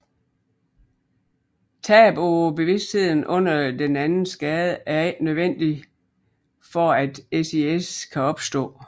Tab af bevidstheden under den anden skade er ikke nødvendigt for at SIS kan opstå